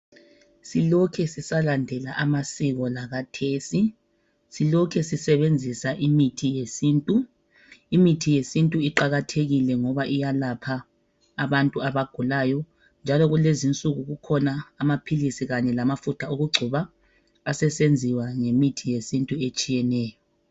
silokhe sisalandela amasiko lakhathesi silokhe sisebenzisa imithi yesintu imithi yesintu iqakathekile ngoba iyalapha abantu abagulayo njalo kulezi insuku khuna amaphilisi loba amafutha wokucoba asesenziwa ngemithi yesintu etshiyeneyo